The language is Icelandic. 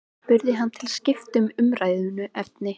spurði hann til að skipta um umræðuefni.